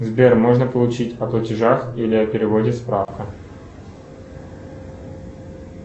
сбер можно получить о платежах или о переводе справка